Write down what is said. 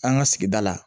An ka sigida la